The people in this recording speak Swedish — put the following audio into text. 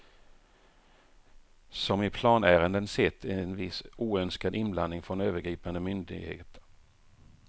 Som i planärenden sett en viss oönskad inblandning från övergripande myndigheter.